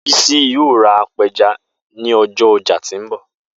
Bisi yoo ra apẹja ni ọjọ ọja ti nbọ